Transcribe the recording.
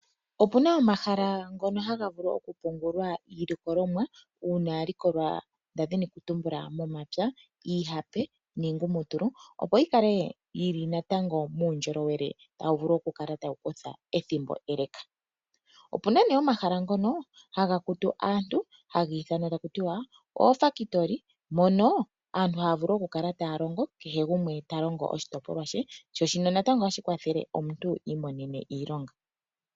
Ope na omahala ngoka haga vulu oku pungulwa iilikolomwa yalikolwa momapya iihape niingumutulu, opo yi kale natango muundjolowele ethimbo ele. Ope na omahala ngono haga kutu aantu haku tiwa oofakitoli mono aantu haya vulu oku kala taya longo kehe gumwe ota longo oshitopolwa she. Shino ohashi kwathele omuntu iimonene iilonga.